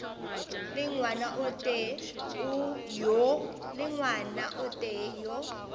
le ngwana o tee yo